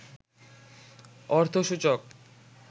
অর্থসূচক